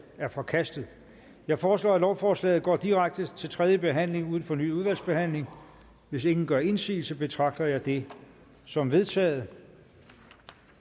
er forkastet jeg foreslår at lovforslaget går direkte til tredje behandling uden fornyet udvalgsbehandling hvis ingen gør indsigelse betragter jeg det som vedtaget